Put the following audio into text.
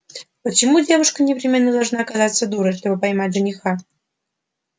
почему девушка непременно должна казаться дурой чтобы поймать жениха